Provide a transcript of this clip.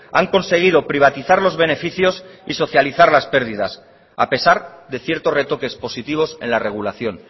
han conseguido privatizar los beneficios y socializar las pérdidas a pesar de ciertos retoques positivos en la regulación